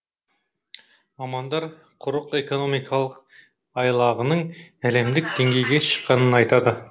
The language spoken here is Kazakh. мамандар құрық экономикалық айлағының әлемдік деңгейге шыққанын айтады